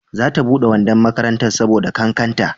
za ta bude wandon makarantar ta saboda kakkanta